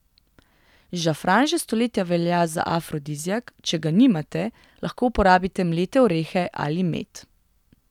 Žafran že stoletja velja za afrodiziak, če ga nimate, lahko uporabite mlete orehe ali med.